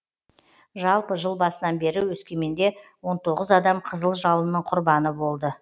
жалпы жыл басынан бері өскеменде он тоғыз адам қызыл жалынның құрбаны болды